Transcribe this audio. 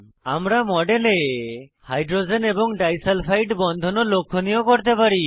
আমরা মডেলে হাইড্রোজেন এবং ডাই সালফাইড বন্ধন ও লক্ষনীয় করতে পারি